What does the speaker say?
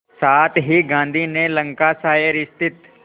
साथ ही गांधी ने लंकाशायर स्थित